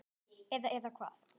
Eða, eða hvað?